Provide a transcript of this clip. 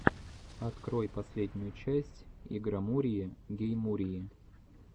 открой последнюю часть игромурии гейммурии